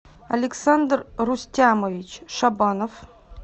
александр рустямович шабанов